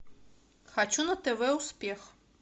хочу на тв успех